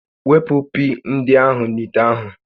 Wepụ pii ndị ahụ n'ite ahụ